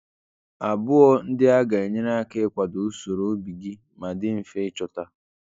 Abụọ ndị a ga-enyere aka ịkwado usoro obi gị ma dị mfe ịchọta.